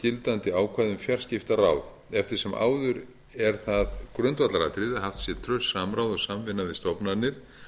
gildandi ákvæði um fjarskiptaráð eftir sem áður er það grundvallaratriði að haft sé traust samráð og samvinna við stofnanir